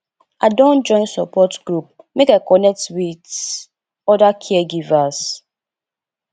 i don join support group make i connect wit oda caregivers